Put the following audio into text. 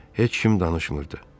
Heç kim danışmırdı.